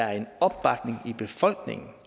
er en opbakning i befolkningen